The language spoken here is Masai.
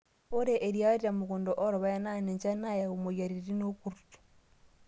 Ore eriyiaa temukundaa oorpaek naa ninche naayau moyiaritin workurt.